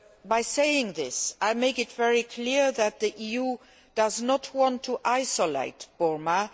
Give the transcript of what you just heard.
By saying this, I make it very clear that the EU does not want to isolate Burma.